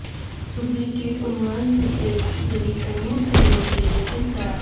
duplicate عنوان سے ایک جعلی تمیز کرنے کے لئے کس طرح